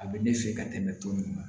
A bɛ ne fɛ ka tɛmɛ tɔn min kan